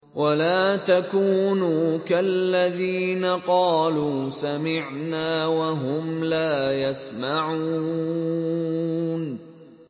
وَلَا تَكُونُوا كَالَّذِينَ قَالُوا سَمِعْنَا وَهُمْ لَا يَسْمَعُونَ